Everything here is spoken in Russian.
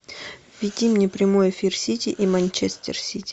введи мне прямой эфир сити и манчестер сити